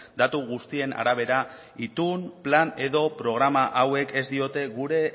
datu guztien arabera itun plan edo programa hauek ez diote gure